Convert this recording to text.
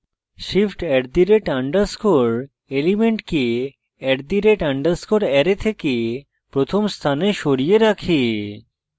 shift @_ element @_ array থেকে প্রথম স্থানে সরিয়ে রাখে